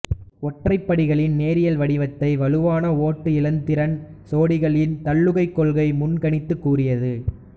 ஒற்றைப்படிகளின் நேரியல் வடிவத்தை வலுவளவு ஓட்டு இலத்திரன் சோடிகளின் தள்ளுகைக் கொள்கை முன்கணித்துக் கூறியது